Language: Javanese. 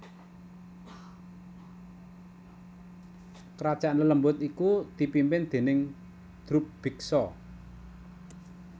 Kerajaan lelembut iku dipimpin déning Drubiksa